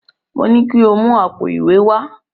Mo ní ko mú àpò ìwé wá!